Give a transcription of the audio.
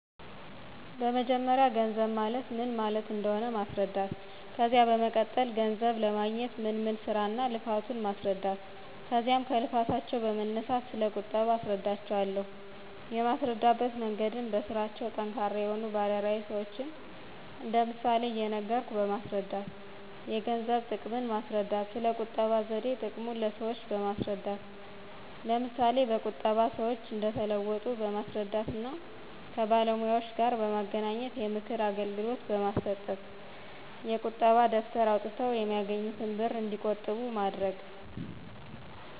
በመጀመርያ ገንዘብ ማለት ምን ማለት እንደሆነ ማስረዳት። ከዚያ በመቀጠል ገንዘብ ለማግኞት ምን ምን ስራ እና ልፋቱ ማስረዳት ከዚያም ከልፋታቸው በመነሳት ስለ ቁጠባ አስረዳቸው አለሁ። የማስረዳበት መንገድም በስራቸው ጠንካራ የሆኑ ባለ ራዕይ ሰዎችን እንደ ምሳሌ እየነገርኩ በማስረዳት። የገንዘብን ጥቅም ማስረዳት። ስለ ቁጠባ ዘዴ ጥቅሙን ለሰዎች በማስረዳት ለምሳ በቁጠባ ሰዎች እንደተለወጡ በማስረዳት እና ከባለሙያዎጋር በማገናኝት የምክር አገልግሎት በማሰጠት። የቁጣ ደብተር አውጠው የሚያገኙትን ብር እንዲቆጥቡ ማድረግ